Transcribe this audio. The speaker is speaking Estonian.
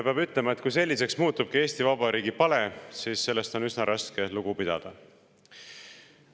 Peab ütlema, et kui Eesti Vabariigi pale selliseks muutubki, siis on sellest üsna raske lugu pidada.